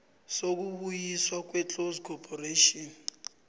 sokubuyiswa kweclose corporation